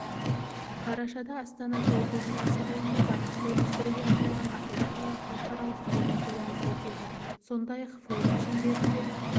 қарашада астанада оқушылар сарайында бақытты өмір сүруге арналған ақылды қала халықаралық форум-көрмесі өтеді сондай-ақ форум шеңберінде